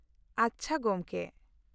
ᱟᱪᱪᱷᱟ, ᱜᱚᱢᱠᱮ ᱾